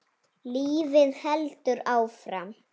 Lífið heldur áfram.